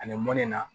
Ani mɔlen na